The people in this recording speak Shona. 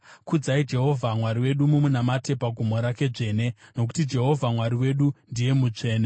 Kudzai Jehovha Mwari wedu mumunamate pagomo rake dzvene, nokuti Jehovha Mwari wedu ndiye mutsvene.